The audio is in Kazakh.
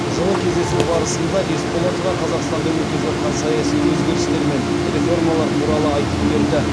жылы кездесу барысында есболатова қазақстанда өтіп жатқан саяси өзгерістер мен реформалар туралы айтып берді